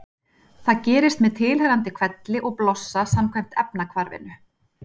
Það gerist með tilheyrandi hvelli og blossa samkvæmt efnahvarfinu: